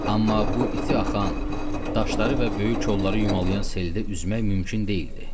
Amma bu iti axan daşları və böyük kolları yumalayan seldə üzmək mümkün deyildi.